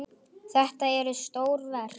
Þetta eru stór verk.